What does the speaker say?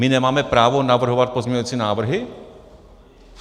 My nemáme právo navrhovat pozměňovací návrhy?